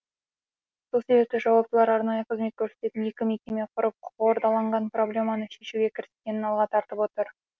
сол себепті жауаптылар арнайы қызмет көрсететін екі мекеме құрып қордаланған проблеманы шешуге кіріскенін алға тартып отыр